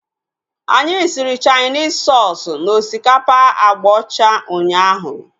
Anyị siri Chainis soosu na osikapa agba ọcha ụnyaahụ